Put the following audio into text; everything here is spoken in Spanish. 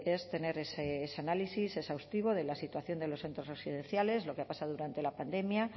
es tener ese análisis exhaustivo de la situación de los centros residenciales lo que ha pasado durante la pandemia